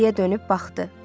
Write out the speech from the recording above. Geriə dönüb baxdı.